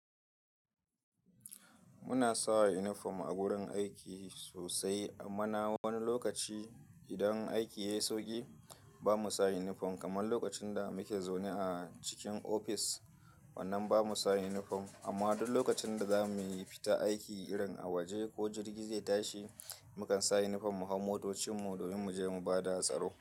Muna sa inifom a gurin aiki sosai amma na wani lokaci idan aiki yayi sauƙi, bamu sa inifom, kamar lokacin da muke zaune a cikin ofis wannan bamu sa inifom, amma duk lokacin da zamu fita aiki irin a waje, ko jirgi zai tashi mukan sa inifom mu hau motocinmu, domin muje mu bada hatsaro.